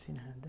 De nada.